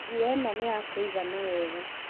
Nguo ĩno nĩyakũigana wega